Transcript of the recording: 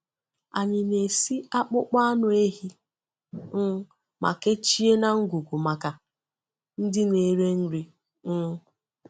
Anyị na-esi akpụkpọ anụ ehi um ma kechie na ngwugwu maka ndị na-ere nri. um